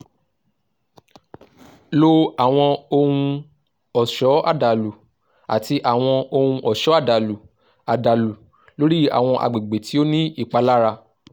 lo awọn ohun-ọṣọ adalu ati awọn ohun-ọṣọ adalu adalu lori awọn agbegbe ti o ni ipalara